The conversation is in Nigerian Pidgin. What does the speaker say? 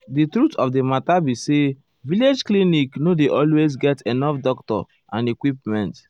di truth of the matter be say village clinic nor dey always get enough doctor and equipment.